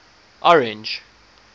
orange